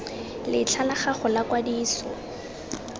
letlha la gago la kwadiso